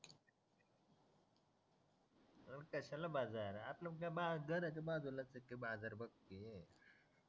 अरे कशाला बाजार आपल आपला का बा घराच्या बाजूलाच आहे कि बाजार बघ तू